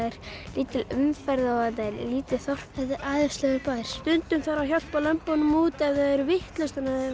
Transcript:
lítil umferð og þetta er lítið þorp þetta er æðislegur bær stundum þarf að hjálpa lömbunum út ef þau eru vitlaus